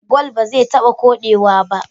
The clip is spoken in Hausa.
Gwal baze taba kode wa ba